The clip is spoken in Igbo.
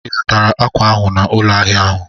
Ị zụtara akwa ahụ n'ụlọ ahịa ahụ?